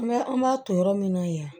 An b'a an b'a to yɔrɔ min na yan